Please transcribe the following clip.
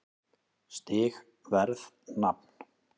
Stig Verð Nafn